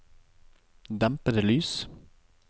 dempede lys